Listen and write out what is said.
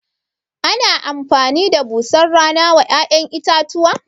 Ana amfani da busar rana wa ya'yan itatuwa?